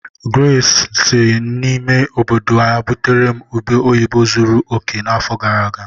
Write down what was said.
Grace si n'ime obodo ya butere m ube oyibo zuru oke n'afọ gara aga.